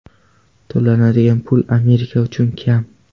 To‘lanadigan pul Amerika uchun kam.